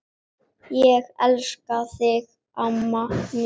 Ég elska þig, amma mín.